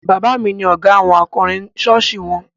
Bàbá mi ni ọ̀gá àwọn akọrin ṣọ́ọ̀ṣì won